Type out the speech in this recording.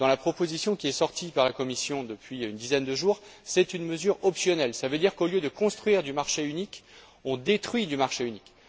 Dans la proposition qu'a sortie la Commission il y a une dizaine de jours, c'est une mesure optionnelle, c'est à dire qu'au lieu de construire du marché unique, on détruit du marché unique.